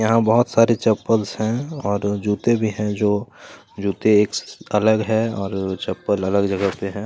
यहाँ बहुत सारी चप्पलस है और जूते भी हैं जो जूते अलग हैं और चप्पल अलग जगह पे हैं।